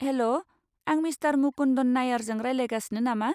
हेल'! आं मिस्टार मुकुन्दन नायरजों रायज्लायगासिनो नामा?